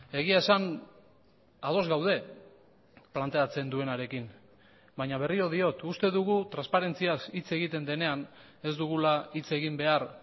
egia esan ados gaude planteatzen duenarekin baina berriro diot uste dugu transparentziaz hitz egiten denean ez dugula hitz egin behar